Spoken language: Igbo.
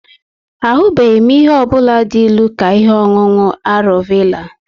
Ahubeghi m ihe ọ bụla dị ilu ka ihe ọṅụṅụ arọ vela